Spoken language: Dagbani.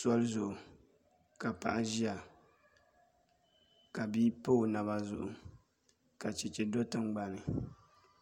Soli zuɣu ka paɣa ʒiya ka bia pa o naba zuɣu ka chɛchɛ do tingbanni